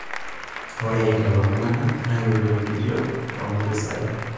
ore lelo tung'anak nairorokitio too impisai